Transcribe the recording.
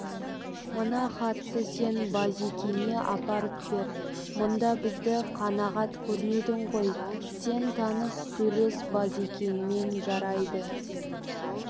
мына хатты сен базекеңе апарып бер мұнда бізді қанағат көрмедің ғой сен таныс сөйлес базекеңмен жарайды